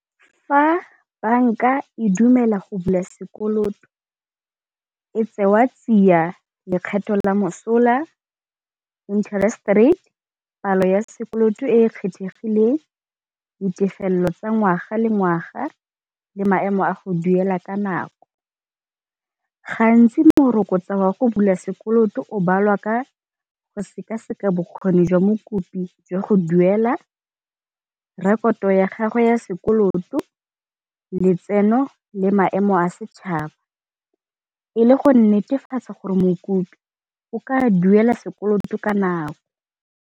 Fa banka e dumela go bula sekoloto e tsewa tsia lekgetho la mosola, interest rate, palo ya sekoloto e e kgethegileng, ditefelelo tsa ngwaga le ngwaga le maemo a go duela ka nako. Gantsi morokotso wa go bula sekoloto o balwa ka go seka-seka bokgoni jwa mokopi jwa go duela, rekoto ya gagwe ya sekoloto, letseno le maemo a setšhaba. E le go netefatsa gore mokopi go ka duela sekoloto ka nako.